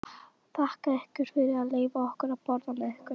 Þakka ykkur fyrir að leyfa okkur að borða með ykkur.